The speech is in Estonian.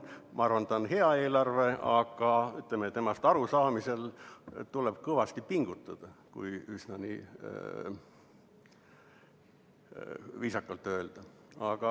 Ma arvan, et see on hea eelarve, aga temast arusaamiseks tuleb kõvasti pingutada, kui üsna viisakalt öelda.